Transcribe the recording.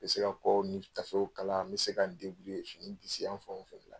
Bɛ se ka kɔw ni tafew kalan n bɛ se ka n fini disiyanfanw fɛ.